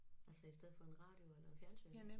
Altså i stedet for en radio eller et fjernsyn